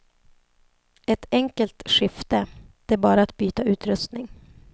Ett enkelt skifte, det är bara att byta utrustning.